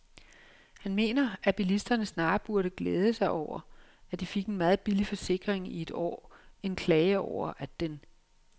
Han mener, at bilisterne snarere burde glæde sig over, at de fik en meget billig forsikring i et år end klage over, at den